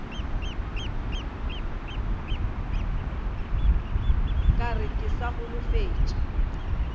ka re ke sa holofetše